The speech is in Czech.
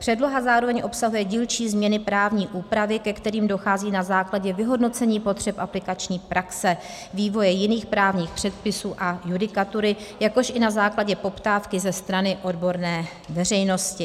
Předloha zároveň obsahuje dílčí změny právní úpravy, ke kterým dochází na základě vyhodnocení potřeb aplikační praxe, vývoje jiných právních předpisů a judikatury, jakož i na základě poptávky ze strany odborné veřejnosti.